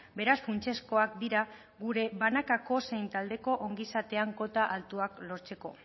beraz funtsezkoak dira gure banakako zein taldeko ongizatean kota altuak lortzeko